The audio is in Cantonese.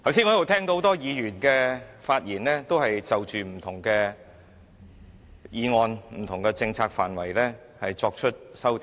我剛才聽到很多議員就不同的政策範圍作出修訂。